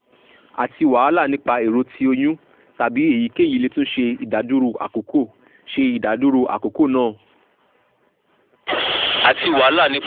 ati wahala nipa ero ti oyun tabi eyikeyi le tun ṣe idaduro akoko ṣe idaduro akoko naa